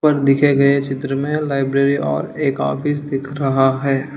ऊपर दिखे गए चित्र में लाइब्रेरी और एक ऑफिस दिख रहा है।